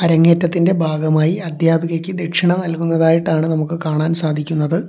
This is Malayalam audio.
അരങ്ങേറ്റത്തിന്റെ ഭാഗമായി അധ്യാപികയ്ക്ക് ദക്ഷിണ നൽകുന്നതായിട്ടാണ് നമുക്ക് കാണാൻ സാധിക്കുന്നത്.